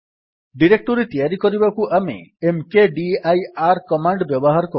directory ତିଆରି କରିବାକୁ ଆମେ ମକଦିର କମାଣ୍ଡ୍ ବ୍ୟବହାର କରୁ